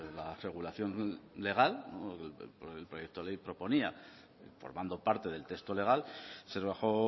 la regulación legal el proyecto de ley proponía formando parte del texto legal se rebajó